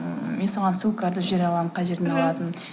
мен саған ссылкаларды жібере аламын қай жерден алатынымды